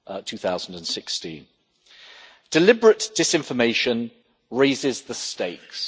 2016. Deliberate disinformation raises the stakes.